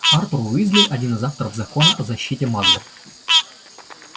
артур уизли один из авторов закона о защите маглов